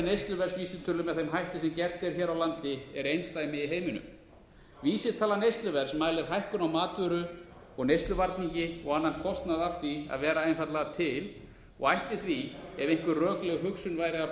neysluverðsvísitölu með þeim hætti sem gert er hér á landi er einsdæmi í heiminum vísitala neysluverðs mælir hækkun á matvöru og neysluvarningi og annan kostnað af því að vera einfaldlega til og ætti því ef einhver rökleg hugsun væri að